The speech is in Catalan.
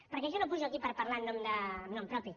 perquè jo no pujo aquí per parlar en nom propi